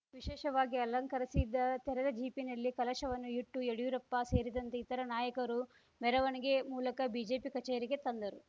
ವಿಶೇಷವಾಗಿ ಅಲಂಕರಿಸಿದ ತೆರೆದ ಜೀಪಿನಲ್ಲಿ ಕಲಶವನ್ನು ಇಟ್ಟು ಯಡ್ಯೂರಪ್ಪ ಸೇರಿದಂತೆ ಇತರೆ ನಾಯಕರು ಮೆರವಣಿಗೆ ಮೂಲಕ ಬಿಜೆಪಿ ಕಚೇರಿಗೆ ತಂದರು